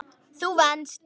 Þú venst.